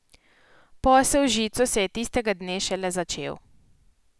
Posel z žico se je tistega dne šele začel...